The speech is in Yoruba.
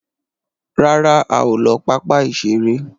ràrá a o ló papa iṣere